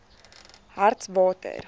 hartswater